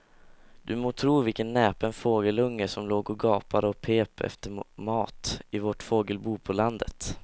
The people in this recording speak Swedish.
Du må tro vilken näpen fågelunge som låg och gapade och pep efter mat i vårt fågelbo på landet.